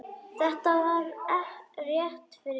Þetta var rétt fyrir jól.